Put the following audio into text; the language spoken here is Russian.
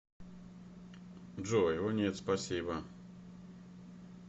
джой о нет спасибо